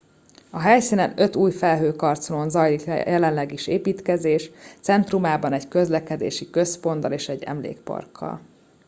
a helyszínen öt új felhőkarcolón zajlik jelenleg is építkezés centrumában egy közlekedési központtal és egy emlékparkkal